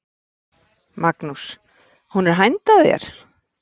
Magnús: Hún er hænd að þér?